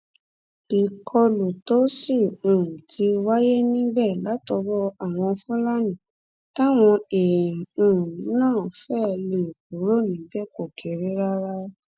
ìkọlù tó sì um ti wáyé níbẹ látọwọ àwọn fúlàní táwọn èèyàn um náà fẹẹ lè kúrò níbẹ kò kéré rárá